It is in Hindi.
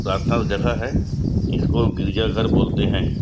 प्रार्थना वाला जगह है इसको गिरजा घर बोलते है।